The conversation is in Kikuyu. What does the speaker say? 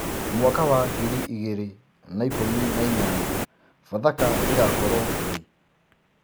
mwaka wa ngiriĩgĩrĩ na ĩkũmĩ naĩnyanya pathaka igakorwo rii